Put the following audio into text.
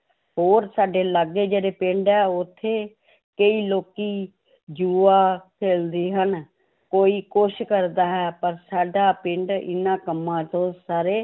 ਹੋਰ ਸਾਡੇ ਲਾਗੇ ਜਿਹੜੇ ਪਿੰਡ ਹੈ ਉੱਥੇ ਕਈ ਲੋਕੀ ਜੂਆ ਖੇਲਦੇ ਹਨ, ਕੋਈ ਕੁਛ ਕਰਦਾ ਹੈ, ਪਰ ਸਾਡਾ ਪਿੰਡ ਇਹਨਾਂ ਕੰਮਾਂ ਤੋਂ ਸਾਰੇ